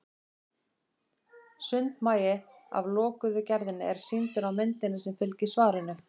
sundmagi af lokuðu gerðinni er sýndur á myndinni sem fylgir svarinu